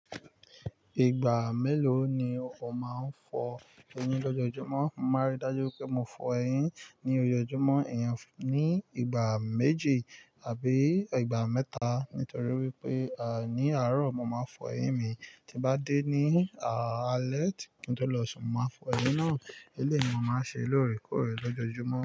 Ìgbà mélòó ni o máa ń fọ eyín lọ́jọjúmọ́? Mo máa rí dájú pé mo fọ eyín ní ojoojúmọ́, ìyẹn ní ìgbà méje àbí ìgbà mẹ́ta. Nítorí wípé à ní àárò mo máa fọ eyín mi, tí bá dé ní à alẹ́ kí n tó lọ sùn mo máa fọ eyín náà. Eléni mo máa ń ṣe lóòrèkóòrè lọ́jọ́júmọ́